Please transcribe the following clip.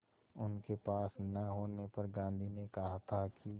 उनके पास न होने पर गांधी ने कहा था कि